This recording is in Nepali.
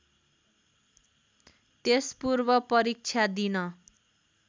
त्यसपूर्व परीक्षा दिन